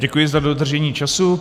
Děkuji za dodržení času.